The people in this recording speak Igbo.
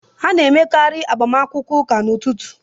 A na-emekarị agbamakwụkwọ ụka n'ụtụtụ